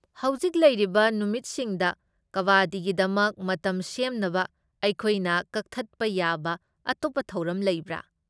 ꯍꯧꯖꯤꯛ ꯂꯩꯔꯤꯕ ꯅꯨꯃꯤꯠꯁꯤꯡꯗ ꯀꯕꯥꯗꯤꯒꯤꯗꯃꯛ ꯃꯇꯝ ꯁꯦꯝꯅꯕ ꯑꯩꯈꯣꯏꯅ ꯀꯛꯊꯠꯄ ꯌꯥꯕ ꯑꯇꯣꯞꯄ ꯊꯧꯔꯝ ꯂꯩꯕ꯭ꯔꯥ ?